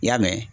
I y'a mɛn